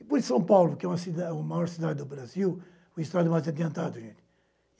E por São Paulo que é uma cidade a maior cidade do Brasil, o estado mais adiantado, gente.